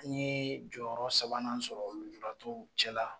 An ye jɔyɔrɔ sabanan sɔrɔ lujuratɔw cɛla